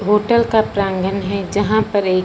hotel का प्रागंण हैं जहां पर एक--